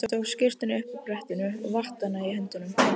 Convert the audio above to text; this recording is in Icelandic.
Hún tók skyrtuna upp af brettinu og vatt hana í höndunum.